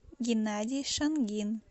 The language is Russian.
геннадий шангин